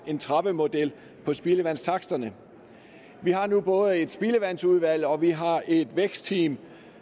en trappemodel på spildevandstaksterne vi har nu både et spildevandsudvalg og vi har et vækstteam